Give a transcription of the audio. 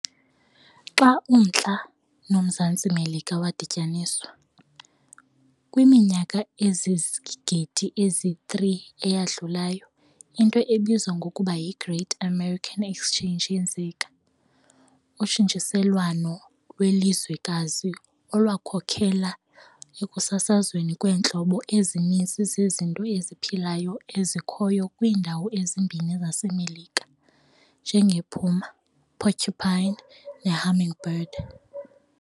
Xa uMntla noMzantsi Melika wadityaniswa, kwiminyaka ezizigidi ezi-3 eyadlulayo, into ebizwa ngokuba yiGreat American Exchange yenzeka, utshintshiselwano lwelizwekazi olwakhokelela ekusasazweni kweentlobo ezininzi zezinto eziphilayo ezikhoyo kwiindawo ezimbini zaseMelika, njengepuma, porcupine, nehummingbird.